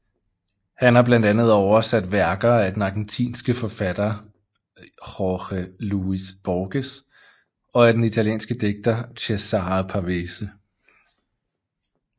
Han har blandt andet oversat værker af den argentinske forfatter Jorge Luis Borges og af den italienske digter Cesare Pavese